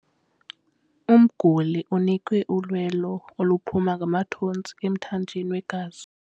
Umguli unikwe ulwelo oluphuma ngamathontsi emthanjeni wegazi.